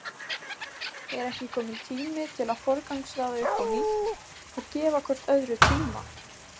Er ekki kominn tími til að forgangsraða upp á nýtt og gefa hvort öðru tíma?